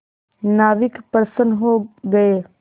नाविक प्रसन्न हो गए